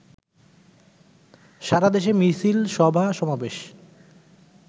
সারাদেশে মিছিল, সভা-সমাবেশ